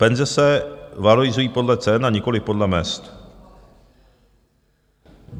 Penze se valorizují podle cen a nikoliv podle mezd.